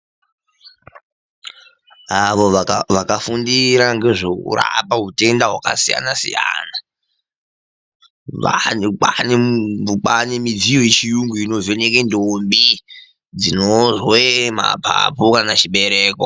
Avo vakafundira ngezvekurapa hutenda hwakasiyana siyana. Vanthu kwaane midziyo yechiyungu inovheneke ndombi dzinozwe mapapu kana chibereko.